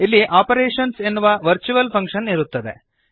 ಇಲ್ಲಿ ಆಪರೇಶನ್ಸ್ ಎನ್ನುವ virtual function ಇರುತ್ತದೆ